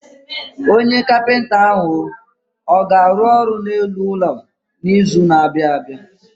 Onye kapinta ahụ ọ ga-arụ ọrụ n'elu ụlọ n'izu na-abịa?